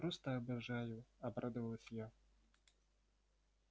просто обожаю обрадовалась я